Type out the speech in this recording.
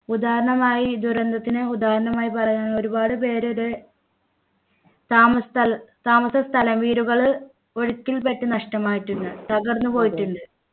ഉദാഹരണമായി ദുരന്തത്തിന് ഉദാഹരണമായി പറയാ ഒരുപാട് പേരുടെ താമസ സ്ഥലം താമസ സ്ഥലം വീടുകള് ഒഴുക്കിൽപ്പെട്ടു നഷ്ടമായിട്ടുണ്ട് തകർന്നു പോയിട്ടുണ്ട്